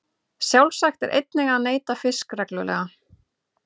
Sjálfsagt er einnig að neyta fisks reglulega.